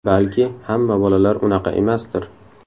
Balki hamma bolalar unaqa emasdir.